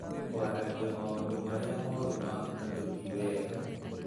Kwaragĩa maũndũ marĩa moru ma andũ ti wega